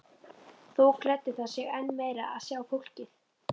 Þó gleddi það sig enn meir að sjá fólkið.